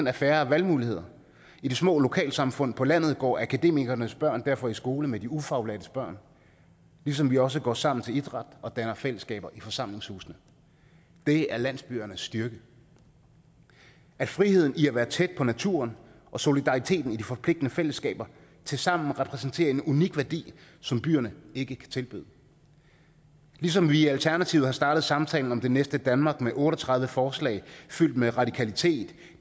er færre valgmuligheder i de små lokalsamfund på landet går akademikernes børn derfor i skole med de ufaglærtes børn ligesom de også går sammen til idræt og danner fællesskaber i forsamlingshusene det er landsbyernes styrke friheden i at være tæt på naturen og solidariteten i de forpligtende fællesskaber tilsammen repræsenterer en unik værdi som byerne ikke kan tilbyde ligesom vi i alternativet har startet samtalen om det næste danmark med otte og tredive forslag fyldt med radikalitet